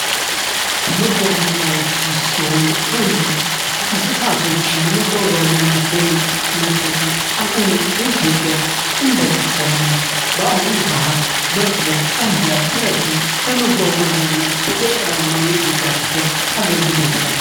ከመጓጓዣዎች ውስጥ የሆነው አንዱ እንስሳቶች ለመጓጓዣነት መጠቀም አሁንም በኢትዮጵያ እንደቀጠለ ነው። በአሁኑ ሰአት በቅሎ ፣አህያ ፣ፈረስን ለመጓጓዣነት በገጠራማው የኢትዮጵያ ክፍል አገልግሎት ላይ።